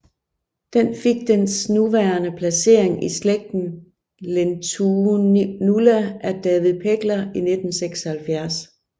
Den fik dens nuværende placering i slægten Lentinula af David Pegler i 1976